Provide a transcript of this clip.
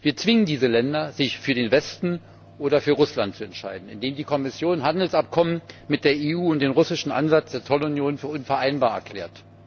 Wir zwingen diese Länder, sich für den Westen oder für Russland zu entscheiden, indem die Kommission Handelsabkommen mit der EU und den russischen Ansatz der Zollunion für unvereinbar erklärt.